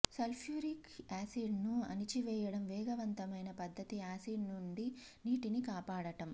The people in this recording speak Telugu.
సల్ఫ్యూరిక్ యాసిడ్ను అణచివేయడం వేగవంతమైన పద్ధతి యాసిడ్ నుండి నీటిని కాపాడటం